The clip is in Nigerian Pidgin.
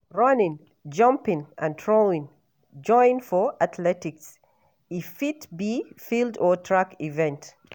Running, jumping and throwing join for athletics. e Fit be field or track event.